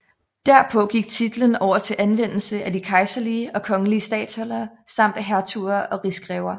Derpå gik titlen over til at anvendes af de kejserlige og kongelige statholdere samt af hertuger og rigsgrever